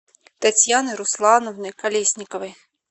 татьяны руслановны колесниковой